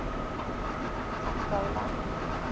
pongola